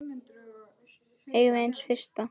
Eigum við séns á fyrsta?